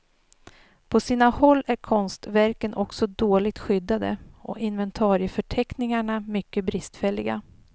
På sina håll är konstverken också dåligt skyddade och inventarieförteckningarna mycket bristfälliga.